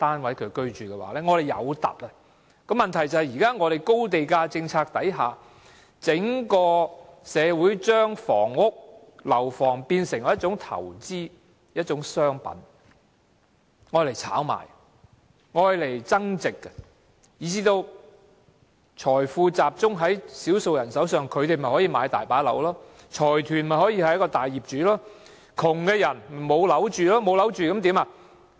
問題是在現時的高地價政策下，整個社會已把房屋看成是一種投資或商品，用來炒賣和增值，以致財富集中在少數人手上，於是他們便大量購入單位，財團便成為大業主，而窮人則無樓可住。